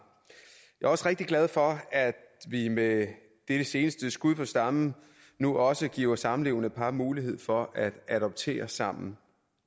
jeg er også rigtig glad for at vi med dette seneste skud på stammen nu også giver samlevende par mulighed for at adoptere sammen